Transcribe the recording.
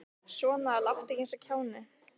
Svona láttu ekki eins og kjáni.